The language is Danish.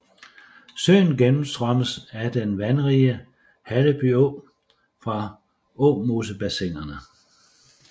Søen gennemstrømmes af den vandrige Halleby Å fra Åmosebassinerne